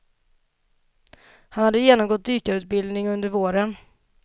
Han hade genomgått dykarutbildning under våren.